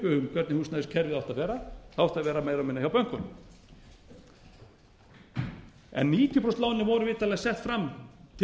hvernig húsnæðiskerfið á átti að vera það átti að vera meira og minna hjá bönkunum níutíu prósent lánin voru vitanlega sett fram til þess